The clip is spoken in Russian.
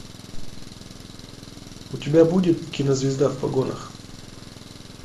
у тебя будет кинозвезда в погонах